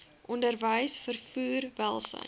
onderwys vervoer welsyn